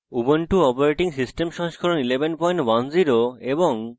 ubuntu operating system সংস্করণ 1110 এবং